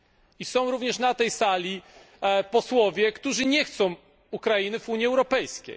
I również na tej sali są posłowie, którzy nie chcą Ukrainy w Unii Europejskiej.